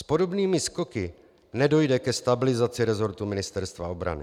S podobnými skoky nedojde ke stabilizaci resortu Ministerstva obrany.